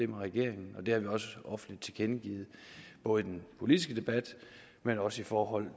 med regeringen og det har vi også offentligt tilkendegivet både i den politiske debat men også i forhold